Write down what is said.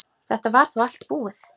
Þetta var þá allt búið.